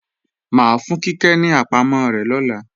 Mà á fún Kíkẹ́ ní àpamọ́ rẹ̀ lọ́la